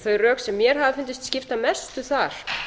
þau rök sem mér hafa fundist skipta mestu þar